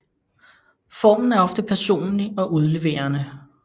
Formen er ofte personlig og udleverende